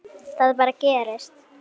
Það bara gerist.